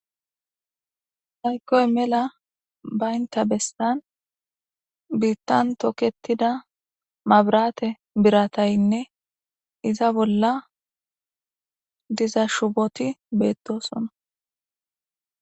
Hayikoy mela baynta bestan biittan toketida mabrate birataynne iza bolla diza shuboti beettosona